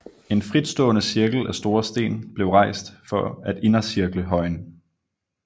En fritstående cirkel af store sten blev rejst for at indercirkle højen